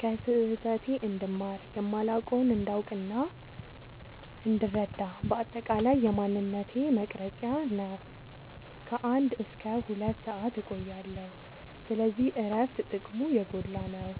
ከስህተቴ እንድማር፣ የማላውቀውን እንዳውቅናእንድረዳ በአጠቃላይ የማንነቴ መቅረጽያ ነው። ከ አንድ እስከ ሁለት ሰአት እቆያለሁ። ስለዚህ እረፍት ጥቅሙ የጎላ ነው።